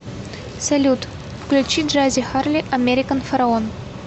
салют включи джази харли американ фараон